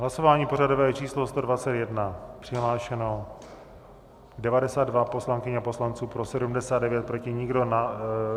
Hlasování pořadové číslo 121, přihlášeno 92 poslankyň a poslanců, pro 79, proti nikdo.